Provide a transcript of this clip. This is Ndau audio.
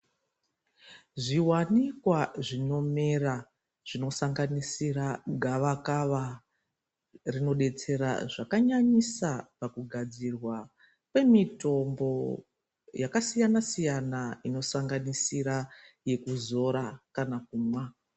Zviwanikwa zvinomera zvinosanganisira gavakava rinobeysera zvakanyanyisa paku gadzirwa kwemitombo yakasiyana siyana inosanganisira yekuzora kana kumwa.